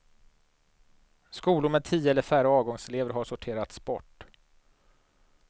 Skolor med tio eller färre avgångselever har sorterats bort.